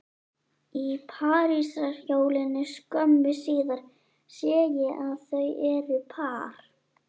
Í parísarhjólinu skömmu síðar sé ég að þau eru par